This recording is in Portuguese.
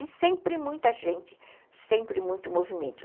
E sempre muita gente, sempre muito movimento.